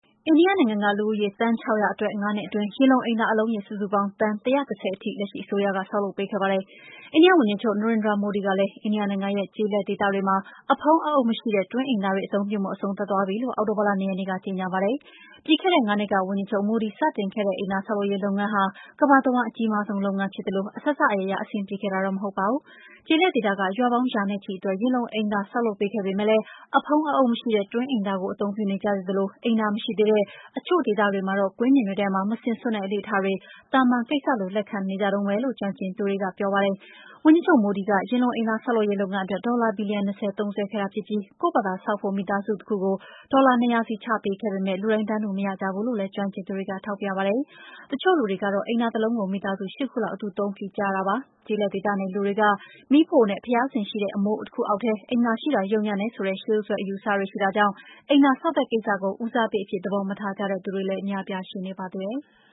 အိန္ဒိယနိုင်ငံက လူဦးရေ သန်း ၆၀၀ အတွက် ၅ နှစ်အတွင်း ယင်လုံအိမ်သာ အလုံးရေ စုစုပေါင်း သန်း ၁၁၀ ထိ လက်ရှိအစိုးရက ဆောက်လုပ်ပေးခဲ့ပါတယ်။ အိန္ဒိယဝန်ကြီးချုပ် Narendra Modi ကလည်း အိန္ဒိယနိုင်ငံရဲ့ ကျေးလက်ဒေသတွေမှာ အဖုံးအအုပ်မရှိတဲ့ တွင်းအိမ်သာတွေ အသုံးပြုမှု အဆုံးသတ်သွားပြီလို့ အောက်တိုဘာလ ၂ ရက်နေ့က ကြေညာခဲ့တာပါ။ ပြီးခဲ့တဲ့ ၅ နှစ်က ဝန်ကြီးချုပ် Modi စတင်ခဲ့တဲ့ အိမ်သာဆောက်လုပ်ရေး လုပ်ငန်းအစီအစဉ်ဟာ ကမ္ဘာတဝှမ်း အကြီးမားဆုံးလုပ်ငန်းလည်း ဖြစ်သလို အစစအရာရာ အဆင်ပြေခဲ့တာတော့ မဟုတ်ပါဘူး။ ကျေးလက်ဒေသက ရွာပေါင်း ရာနဲ့ချီအတွက် ယင်လုံအိမ်သာတွေ ဆောက်လုပ်ပေးခဲ့ပေမယ့် အဖုံးအအုပ်မရှိတဲ့ တွင်းအိမ်သာတွေကို အသုံးပြုနေကြသေးသလို အိမ်သာမရှိကြသေးတဲ့ တချို့ဒေသတွေမှာတော့ ကွင်းပြင်တွေထဲမှာ မစင်စွန့်တဲ့ အလေ့အထတွေ သာမန်ကိစ္စလို လက်ခံထားနေကြတုန်းပဲလို့ ကျွမ်းကျင်သူတွေက ပြောပါတယ်။ ဝန်ကြီးချုပ် Modi က ယင်လုံအိမ်သာ ဆောက်လုပ်ရေး လုပ်ငန်းအတွက် ဒေါ်လာ ဘီလီယံ ၂၀ သုံးစွဲခဲ့တာဖြစ်ပြီး ကိုယ့်ဘာသာဆောက်ဖို့ မိသားစုတခုကို ဒေါ်လာ ၂၀၀ စီ ချပေးခဲ့ပေမယ့် လူတိုင်း တန်းတူမရကြဘူးလို့လည်း ကျွမ်းကျင်သူတွေက ထောက်ပြကြပါတယ်။ တချို့လူတွေကတော့ အိမ်သာတလုံးကို မိသားစု ၈ ခုလောက် အတူအသုံးပြုကြရတာပါ။ ကျေးလက်ဒေသနေ လူတွေက မီးဖိုနဲ့ ဘုရားစင်ရှိတဲ့ အမိုးတခုအောက်ထဲ အိမ်သာရှိတာ ယုတ်ညံ့တယ်ဆိုတဲ့ ရှေးရိုးစွဲ အယူအဆတွေ ရှိတာကြောင့် အိသာဆောက်တဲ့ကိစ္စကို ဦးစားပေးအဖြစ် သဘောမထားကြတဲ့ လူတွေလည်း အများအပြား ရှိနေပါသေးတယ်။